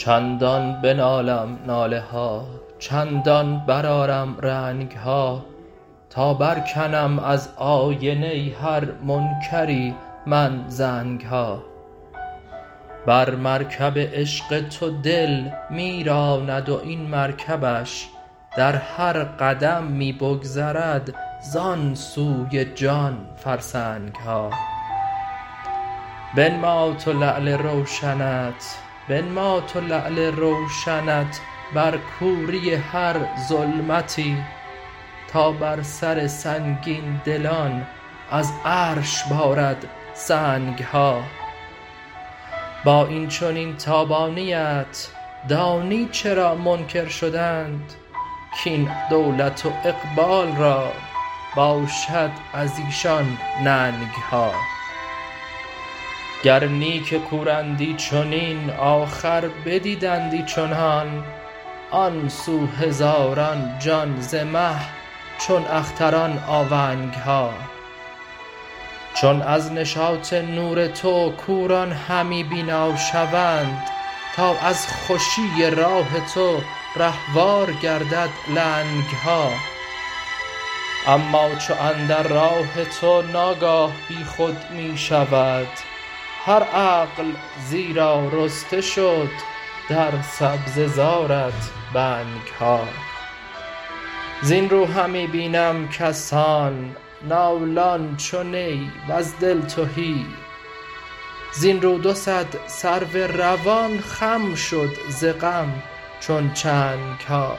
چندان بنالم ناله ها چندان برآرم رنگ ها تا برکنم از آینه هر منکری من زنگ ها بر مرکب عشق تو دل می راند و این مرکبش در هر قدم می بگذرد زان سوی جان فرسنگ ها بنما تو لعل روشنت بر کوری هر ظلمتی تا بر سر سنگین دلان از عرش بارد سنگ ها با این چنین تابانی ات دانی چرا منکر شدند کاین دولت و اقبال را باشد از ایشان ننگ ها گر نی که کورندی چنین آخر بدیدندی چنان آن سو هزاران جان ز مه چون اختران آونگ ها چون از نشاط نور تو کوران همی بینا شوند تا از خوشی راه تو رهوار گردد لنگ ها اما چو اندر راه تو ناگاه بی خود می شود هر عقل زیرا رسته شد در سبزه زارت بنگ ها زین رو همی بینم کسان نالان چو نی وز دل تهی زین رو دو صد سرو روان خم شد ز غم چون چنگ ها